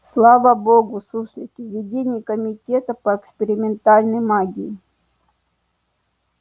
слава богу суслики в ведении комитета по экспериментальной магии